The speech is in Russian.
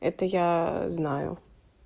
это я знаю